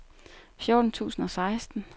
fjorten tusind og seksten